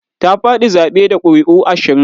Ta faɗi zaɓe da ƙuri'u ashirin.